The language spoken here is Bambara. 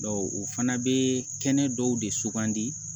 o fana bɛ kɛnɛ dɔw de sugandi